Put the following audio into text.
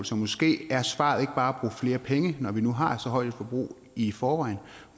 så måske er svaret ikke bare at bruge flere penge når vi nu har så højt et forbrug i forvejen